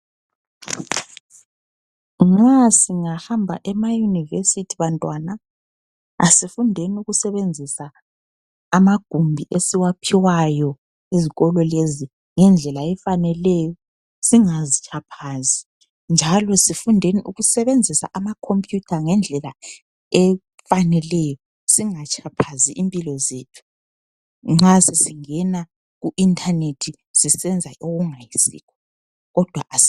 Ma singahamba emayunivesithi bantwana asifundeni ukusebenzisa amagumbi esiwaphiwayo ezikolo lezi ngendlela efaneleyo singazi tshaphazi njalo sifundeni ukusebenzisa ama khompiyutha ngendlela efaneleyo singatshaphazi impilo zethu nxa sesingena ku inthanethi sesiyenza okungayisikho kodwa asi.